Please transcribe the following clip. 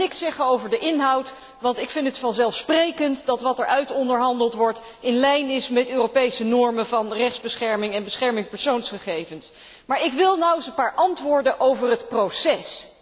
Ik ga niks zeggen over de inhoud, want ik vind het vanzelfsprekend dat wat er uitonderhandeld wordt in lijn is met Europese normen van rechtsbescherming en bescherming persoonsgegevens, maar ik wil nou eens een paar antwoorden over het proces.